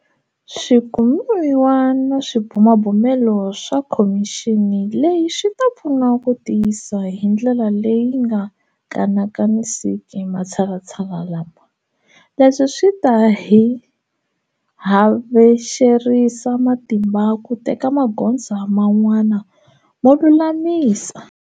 Swikumiwa na swibumabumelo swa khomixini leyi swi ta pfuna ku tiyisa hi ndlela leyi nga kanakanisiki matshalatshala lama. Leswi swi ta hi havexerisa matimba ku teka magoza man'wana mo lulamisa.